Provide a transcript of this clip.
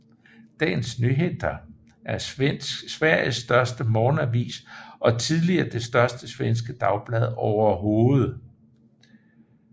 Dagens Nyheter er Sveriges største morgenavis og tidligere det største svenske dagblad overhovedet